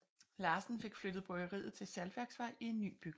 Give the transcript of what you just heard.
Larsen fik flyttet bryggeriet til Saltværksvej i en ny bygning